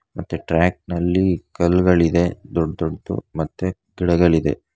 ಮತ್ತೆ ಟ್ರ್ಯಾಕ್ ನಲ್ಲಿ ಕಲ್ ಗಳಿದೆ ದೊಡ್ಡ ದೊಡ್ಡದು ಮತ್ತೆ ಗಿಡಗಳಿದೆ.